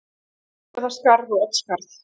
Siglufjarðarskarð og Oddsskarð.